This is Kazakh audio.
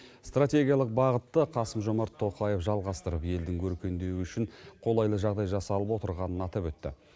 стратегиялық бағытты қасым жомарт тоқаев жалғастырып елдің өркендеуі үшін қолайлы жағдай жасалып отырғанын атап өтті